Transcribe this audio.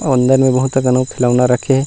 अंदर में बहुत अकन ले खिलौना रखे हे।